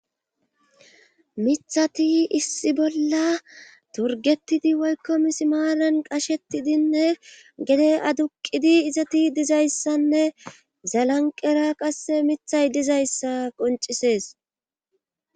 mithati issi bolla torgetidi woykko misimaalan qashetidinne gede aduqidi izati dizayssanne zalanqera qasse mithay dizayssa qoncisees